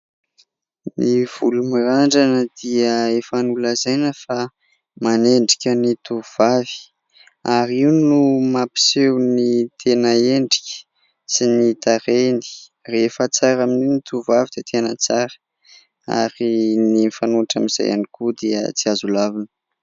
Ny volo mirandrana dia efa nolazaina fa manendrika ny tovovavy, ary io no mampiseho ny tena endrika sy ny tarehiny. Rehefa tsara amin'io ny tovovavy dia tena tsara ; ary ny mifanohitra amin'izay ihany koa, dia tsy azo lavina.